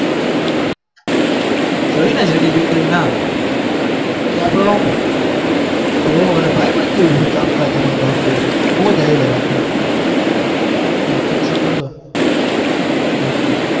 જોયું ને JD bakery નું નામ એ આપણે આમ આહ ભાઈબંધ જેવું છે કામકાજ એમાં તો અંદર મોજ આયવા રાખે હાર્દિક sir આયવા એટલે